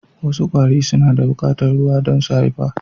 Wasu kwari suna bukatar ruwa dan su haifafa